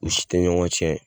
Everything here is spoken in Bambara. U si tɛ ɲɔgɔn cɛn.